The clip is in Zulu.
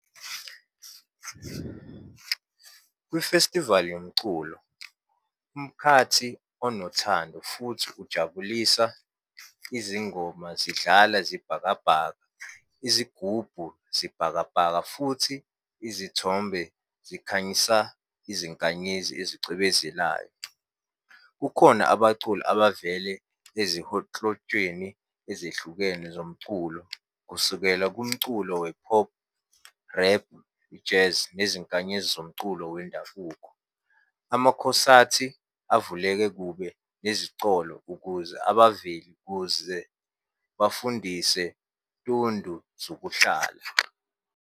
Kwifestivali yomculo, umkhathi onothando futhi ujabulisa izingoma zidlala zibhakabhaka, izigubhu zibhakabhaka, futhi izithombe zikhanyisa izinkanyezi ezicwebezelayo. Kukhona abaculi abavele ezehlukene zomculo, kusukela kumculo we-pop, rap, i-jazz nezinkanyezi zomculo wendabuko. Amakhosathi avuleke kube nezicolo, ukuze abaveli kuze bafundise tundu zokuhlala.